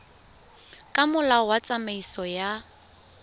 ka molao wa tsamaiso ya